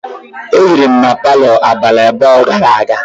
E hiri m na palo abalị abụọ gara aga.